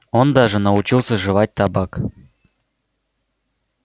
он даже научился жевать табак